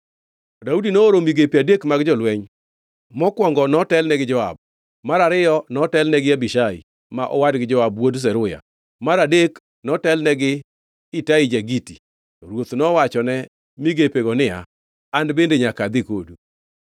Daudi nooro migepe adek mag jolweny: mokwongo notelne gi Joab, mar ariyo notelne gi Abishai ma owadgi Joab wuod Zeruya, mar adek notelne gi Itai ja-Giti. To ruoth nowachone migepego niya, “An bende nyaka adhi kodu.”